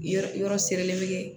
Yɔrɔ yɔrɔ sirilen bɛ kɛ